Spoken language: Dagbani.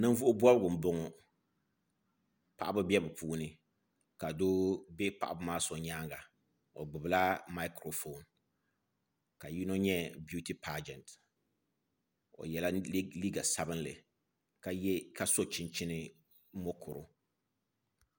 Ninvuɣu bobgu n boŋo paɣaba bɛ bi puuni ka doo bɛ paɣaba maa so nyaanga o gbubila maikiro foon ka yino nyɛ biuty paajɛnt o yɛla liiga sabinli ka so chinchin mokuru